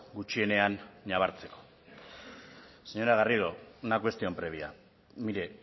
gutxienean nabartzeko señora garrido una cuestión previa mire